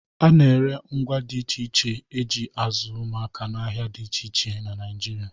A na-ere ngwá dị iche iche e ji azụ ụmụaka n'ahịa na dị iche iche Naịjirịa.